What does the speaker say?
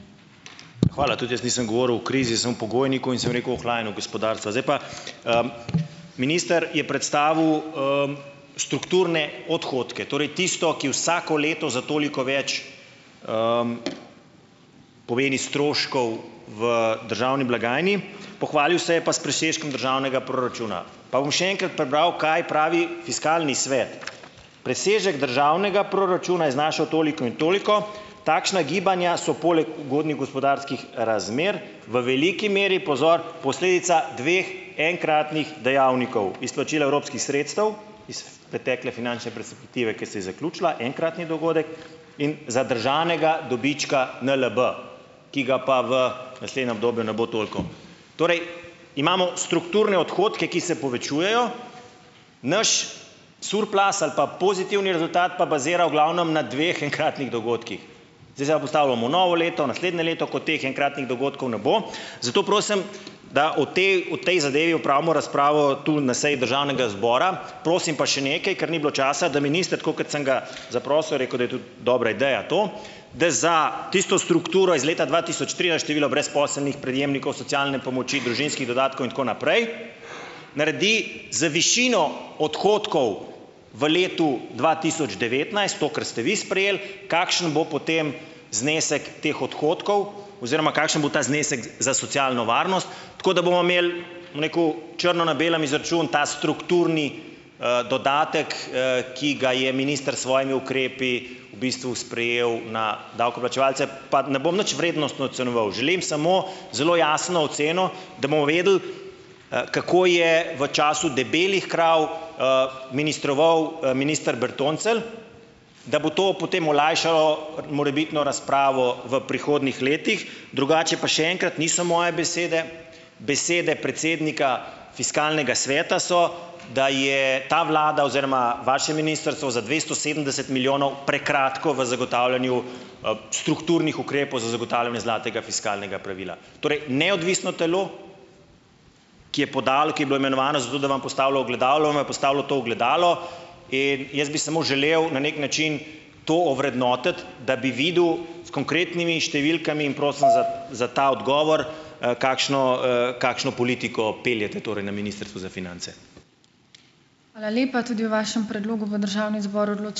Hvala. Tudi jaz nisem govoril o krizi, sem v pogojniku. In sem rekel, ohlajanju gospodarstva. Zdaj pa, minister je predstavil, strukturne odhodke, torej tisto, ki vsako leto za toliko več, pomeni stroškov v državni blagajni. Pohvalil se je pa s presežkom državnega proračuna. Pa bom še enkrat prebral, kaj pravi Fiskalni svet. Presežek državnega proračuna je znašal toliko in toliko, takšna gibanja so poleg ugodnih gospodarskih razmer v veliki meri, pozor, posledica dveh enkratnih dejavnikov, izplačila evropskih sredstev iz pretekle finančne perspektive, ki se je zaključila, enkratni dogodek, in zadržanega dobička NLB, ki ga pa v naslednjem obdobju ne bo toliko. Torej imamo strukturne odhodke, ki se povečujejo, naš surplus ali pa pozitivni rezultat pa bazira v glavnem na dveh enkratnih dogodkih. Zdaj se pa postavljamo v novo leto, v naslednje leto, ko teh enkratnih dohodkov ne bo. Zato prosim, da o tej o tej zadevi opravimo razpravo tu na seji državnega zbora. Prosim pa še nekaj, ker ni bilo časa, da minister, tako kot sem ga zaprosil, je rekel, da je tudi dobra ideja to, da za tisto strukturo iz leta dva tisoč tri ali število brezposelnih prejemnikov socialne pomoči, družinskih dodatkov in tako naprej naredi z višino odhodkov v letu dva tisoč devetnajst, to kar ste vi sprejeli, kakšen bo potem znesek teh odhodkov oziroma kakšen bo ta znesek za socialno varnost. Tako da bomo imeli, bom rekel, črno na belem izračun, ta strukturni, dodatek, ki ga je minister s svojimi ukrepi v bistvu sprejel na davkoplačevalce. Pa ne bom nič vrednostno ocenjeval. Želim samo zelo jasno oceno, da bomo vedeli, kako je v času debelih krav, ministroval minister Bertoncelj, da bo to potem olajšalo morebitno razpravo v prihodnjih letih. Drugače pa še enkrat, niso moje besede. Besede predsednika Fiskalnega sveta so, da je ta vlada oziroma vaše ministrstvo za dvesto sedemdeset milijonov prekratko v zagotavljanju, strukturnih ukrepov za zagotavljanje zlatega fiskalnega pravila. Torej neodvisno telo, ki je podalo, ki je bilo imenovano za to, da vam postavlja ogledalo, vam je postavilo to ogledalo. In jaz bi samo želel na neki način to ovrednotiti, da bi videl s konkretnimi številkami. In prosim za za ta odgovor, kakšno, kakšno politiko peljete torej na Ministrstvu za finance.